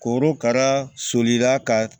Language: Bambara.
Korokara solila ka